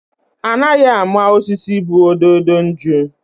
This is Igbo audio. Anaghị ama osisi bu ododo nju.